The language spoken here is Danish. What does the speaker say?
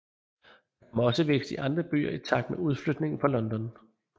Der kom også vækst i andre byer i takt med udflytningen fra London